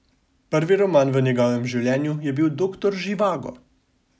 Prvi roman v njegovem življenju je bil Doktor Živago.